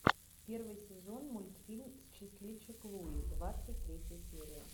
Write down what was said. первый сезон мультфильм счастливчик луи двадцать третья серия